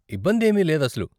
ఇబ్బందేమీ లేదసలు.